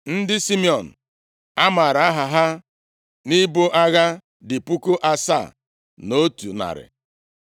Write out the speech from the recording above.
Ndị Simiọn a maara aha ha nʼibu agha dị puku asaa na otu narị. (7,100)